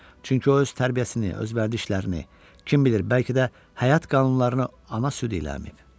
Çünki o öz tərbiyəsini, öz vərdişlərini, kim bilir, bəlkə də həyat qanunlarını ana südü iləəməyib.